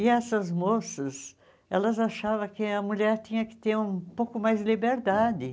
E essas moças elas achavam que a mulher tinha que ter um pouco mais de liberdade.